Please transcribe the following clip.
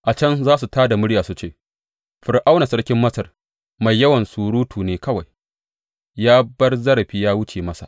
A can za su tā da murya su ce, Fir’auna sarkin Masar mai yawan surutu ne kawai; ya bar zarafi ya wuce masa.’